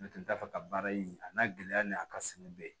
N'o tɛ da fɛ ka baara in a n'a gɛlɛya ni a ka sɛnɛ bɛɛ